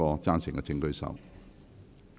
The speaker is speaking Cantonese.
贊成的請舉手。